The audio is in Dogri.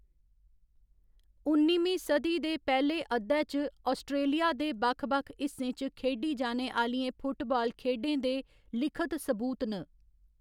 उन्निमीं सदी दे पैह्‌ले अद्धै च आस्ट्रेलिया दे बक्ख बक्ख हिस्सें च खेढी जाने आह्‌‌‌लियें फुटबाल खेढें दे लिखत सबूत न।